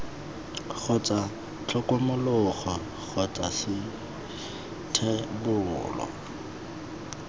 kgotsa tlhokomologo kgotsa c thebolo